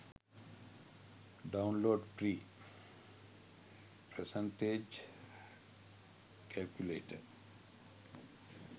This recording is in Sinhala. download free percentage calculator